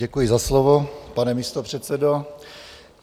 Děkuji za slovo, pane místopředsedo.